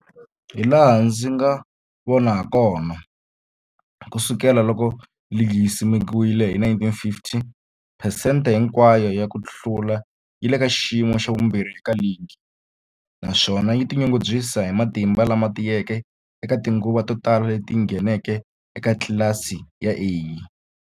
Hilaha ndzi nga vona hakona, ku sukela loko ligi yi simekiwile,1950, phesente hinkwayo ya ku hlula yi le ka xiyimo xa vumbirhi eka ligi, naswona yi tinyungubyisa hi matimba lama tiyeke eka tinguva to tala leti yi ngheneke eka tlilasi ya A.